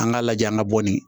An k'a lajɛ an ka bɔnni